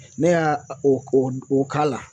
Ne y'a o o k'a la